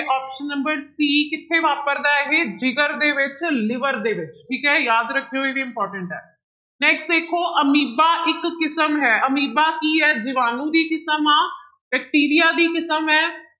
Option number c ਸੀ ਕਿੱਥੇ ਵਾਪਰਦਾ ਹੈ ਇਹ, ਜਿਗਰ ਦੇ ਵਿੱਚ liver ਦੇ ਵਿੱਚ ਠੀਕ ਹੈ ਯਾਦ ਰੱਖਿਓ ਇਹ important ਹੈ next ਦੇਖੋ ਅਮੀਬਾ ਇੱਕ ਕਿਸਮ ਹੈ ਅਮੀਬਾ ਕੀ ਹੈ ਜੀਵਾਣੂ ਦੀ ਕਿਸਮ ਆਂ ਬੈਕਟੀਰੀਆ ਦੀ ਕਿਸਮ ਹੈ